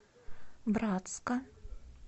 братска